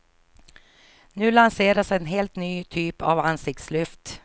Nu lanseras en helt ny typ av ansiktslyft.